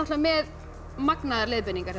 með magnaðar leiðbeiningar